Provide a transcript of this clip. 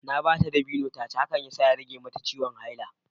Na ba ta dabino ta ci, hakan ya sa ta rage mata ciwon haila